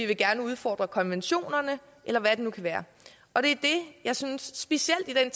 vil gerne udfordre konventionerne eller hvad det nu kan være og det er det jeg synes specielt i